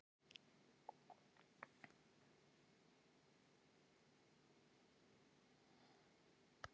á sumrin er önnur bylgjan á norðurhveli en hin á suðurhveli